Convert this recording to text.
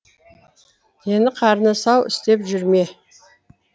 дені қарны сау істеп жүр ме